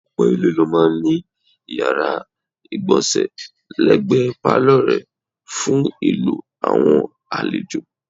Ọ̀pọ̀ ilé ló máa ń ní yàrá ìgbọ̀nsẹ̀ lẹ́gbẹ̀ẹ́ pálọ̀ rẹ̀ fún ìlò àwọn àlejò.